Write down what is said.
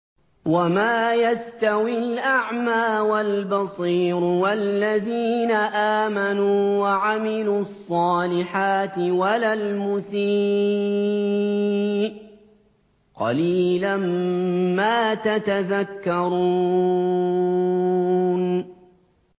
وَمَا يَسْتَوِي الْأَعْمَىٰ وَالْبَصِيرُ وَالَّذِينَ آمَنُوا وَعَمِلُوا الصَّالِحَاتِ وَلَا الْمُسِيءُ ۚ قَلِيلًا مَّا تَتَذَكَّرُونَ